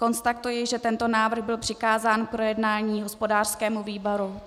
Konstatuji, že tento návrh byl přikázán k projednání hospodářskému výboru.